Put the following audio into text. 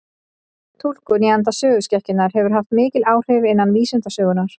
Túlkun í anda söguskekkjunnar hefur haft mikil áhrif innan vísindasögunnar.